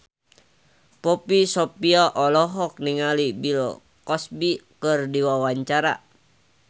Poppy Sovia olohok ningali Bill Cosby keur diwawancara